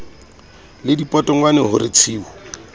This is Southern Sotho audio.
le dipotongwane ho re tshiu